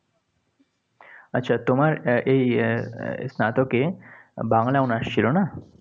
আচ্ছা, তোমার এই স্নাতকে বাংলায় honors ছিল, না?